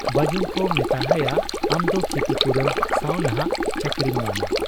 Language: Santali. ᱵᱟᱹᱡᱩᱱᱠᱚ ᱢᱮᱛᱟᱦᱟᱭᱟ ᱟᱢᱫᱚ ᱠᱷᱤᱛᱤᱯᱩᱨᱚᱱ ᱥᱟᱶ ᱱᱷᱟᱜ ᱪᱟᱹᱠᱨᱤᱢ ᱧᱟᱢᱟ ᱾